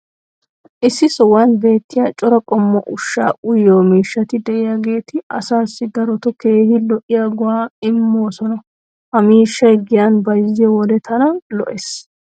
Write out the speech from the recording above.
issi sohuwan beettiya cora qommo ushshaa uyyiyo miishshati diyaageeti asaassi darotoo keehi lo'iyaa go'aa immoosona. ha miishshay giyan bayzziyo wode tana lo'ees.